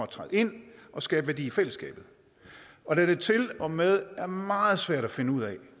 træde ind og skabe værdi i fællesskabet og da det til og med er meget svært at finde ud af